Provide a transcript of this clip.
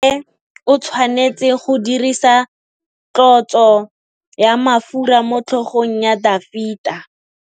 Samuele o tshwanetse go dirisa tlotsô ya mafura motlhôgong ya Dafita.